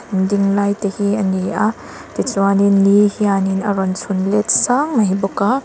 ding lai te hi a ni a ti chuan in ni hian in a rawn chhun let sang mai bawk a.